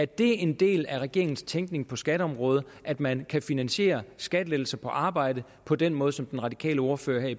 det er en del af regeringens tænkning på skatteområdet at man kan finansiere skattelettelser på arbejde på den måde som den radikale ordfører i